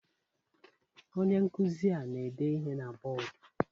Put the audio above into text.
Onye nkuzi ana-ede ihe na bọdụ?